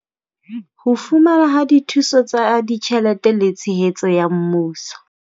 Ho fumanwa ha dithuso tsa ditjhelete le tshehetso ya mmuso.